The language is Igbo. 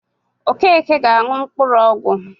Okeke ga-aṅụ mkpụrụọgwọ